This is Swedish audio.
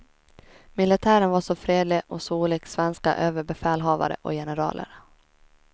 Militären var så fredlig och så olik svenska överbefälhavare och generaler.